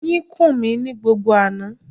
Oyin kùn ní gbogbo àná.